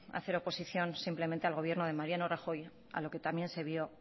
hacer oposición simplemente al gobierno de mariano rajoy a lo que también se vio